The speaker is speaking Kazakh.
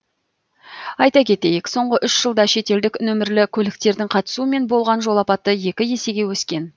айта кетейік соңғы үш жылда шетелдік нөмірлі көліктердің қатысуымен болған жол апаты екі есеге өскен